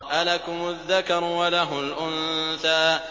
أَلَكُمُ الذَّكَرُ وَلَهُ الْأُنثَىٰ